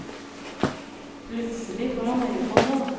Plutselig får han øye på noe.